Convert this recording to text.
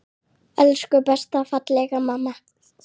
Elsku besta, fallega mamma.